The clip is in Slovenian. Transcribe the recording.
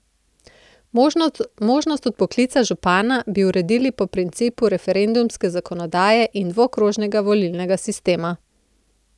Možnost odpoklica župana bi uredili po principu referendumske zakonodaje in dvokrožnega volilnega sistema.